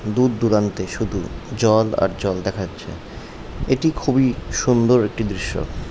দূর দূরান্তে শুধু জল আর জল দেখাচ্ছে এটি খুবই সুন্দর একটি দৃশ্য।